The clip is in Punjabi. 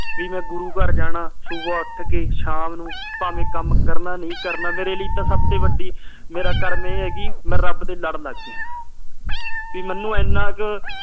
ਵੀ ਮੈਂ ਗੁਰੂ ਘਰ ਜਾਣਾ ਸੁਬਹ ਉੱਠ ਕੇ ਸ਼ਾਮ ਨੂੰ ਭਾਵੇ ਕੰਮ ਕਰਨਾ ਨਹੀਂ ਕਰਨਾ ਮੇਰੇ ਲਈ ਤਾ ਸਬਤੇ ਵੱਡੀ ਮੇਰਾ ਕਰਮ ਇਹ ਆ ਕੇ ਮੈਂ ਰਬ ਦੇ ਲੜ ਲਗ ਗਿਆ ਪੀ ਮੈਨੂੰ ਇਹਨਾਂ ਕਾ